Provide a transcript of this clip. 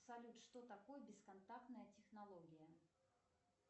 салют что такое бесконтактная технология